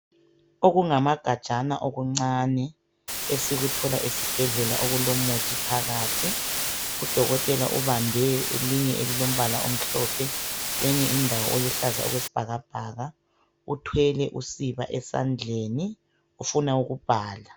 Okungamagajana okuncani esikuthola esibhedlela okulomuthi phakathi . Udokotela ubambe elinye elilombala omhlophe kwenye indawo oluhlaza okwesibhakabhaka uthwele usiba esandleni ufuna ukubhala .